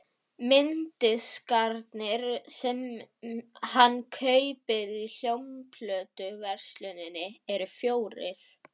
Mynddiskarnir sem hann kaupir í hljómplötuversluninni eru fjórir.